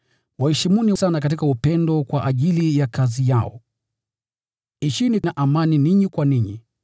Waheshimuni sana katika upendo kwa ajili ya kazi zao. Ishini kwa amani ninyi kwa ninyi.